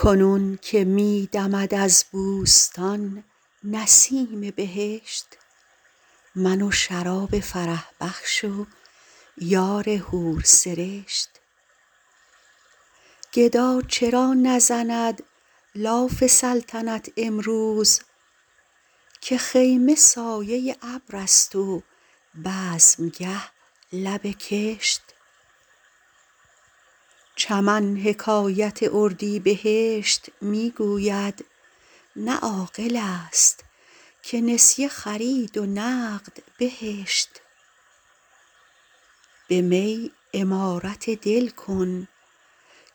کنون که می دمد از بوستان نسیم بهشت من و شراب فرح بخش و یار حورسرشت گدا چرا نزند لاف سلطنت امروز که خیمه سایه ابر است و بزمگه لب کشت چمن حکایت اردیبهشت می گوید نه عاقل است که نسیه خرید و نقد بهشت به می عمارت دل کن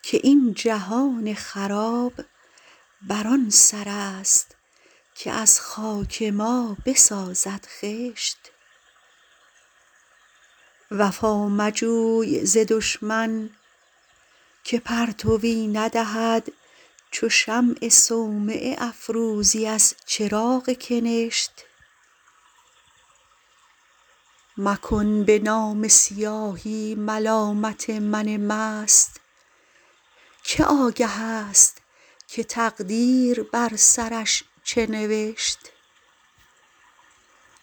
که این جهان خراب بر آن سر است که از خاک ما بسازد خشت وفا مجوی ز دشمن که پرتوی ندهد چو شمع صومعه افروزی از چراغ کنشت مکن به نامه سیاهی ملامت من مست که آگه است که تقدیر بر سرش چه نوشت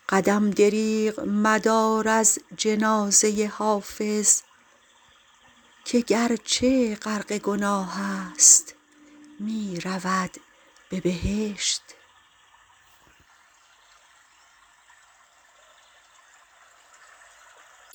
قدم دریغ مدار از جنازه حافظ که گرچه غرق گناه است می رود به بهشت